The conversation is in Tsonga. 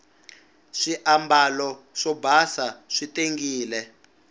swiambalo swo basa swi tengile